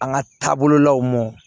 An ka taabololaw mɔ